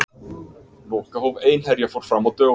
Lokahóf Einherja fór fram á dögunum.